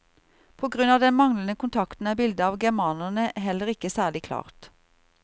På grunn av den manglende kontakten er bildet av germanerne heller ikke særlig klart.